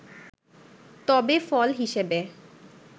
তবে ফল হিসেবে